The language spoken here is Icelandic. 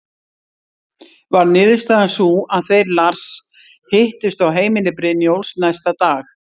Varð niðurstaðan sú að þeir Lars hittust á heimili Brynjólfs næsta dag.